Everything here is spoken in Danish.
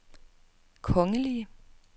kongelige